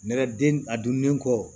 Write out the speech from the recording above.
Nɛgɛden a dunnen kɔ